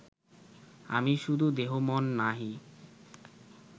আমি শুধু দেহ-মন নহি